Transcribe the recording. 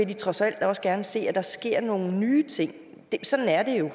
de trods alt også gerne se at der sker nogle nye ting